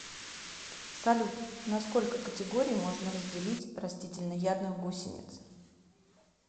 салют на сколько категорий можно разделить растительноядных гусениц